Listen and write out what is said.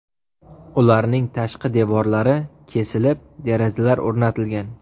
Ularning tashqi devorlari kesilib, derazalar o‘rnatilgan.